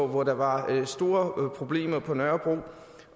hvor der var store problemer på nørrebro